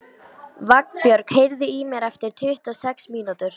Vagnbjörg, heyrðu í mér eftir tuttugu og sex mínútur.